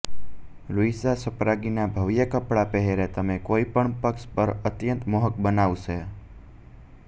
Luisa સ્પાગ્નીના ભવ્ય કપડાં પહેરે તમે કોઈપણ પક્ષ પર અત્યંત મોહક બનાવશે